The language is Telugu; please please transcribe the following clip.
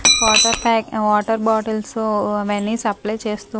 వాటర్ ప్యాక్ వాటర్ బాటిల్స్ అవన్నీ సప్లై చేస్తూ --